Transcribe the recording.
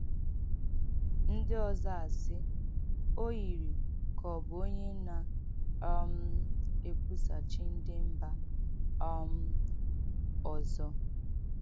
Ndị ọzọ asị: ‘ O yiri ka ọ bụ onye na - um ekwusa chi ndị mba um ọzọ. ’”